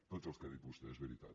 tots els que ha dit vostè és veritat